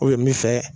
min fɛ